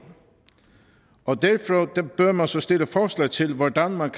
og derfra bør man så stille forslag til hvordan man